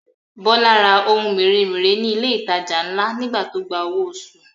Bọ́lá ra ohun mèremère ní ilé ìtajà ńlá nígbà tó gba owó oṣù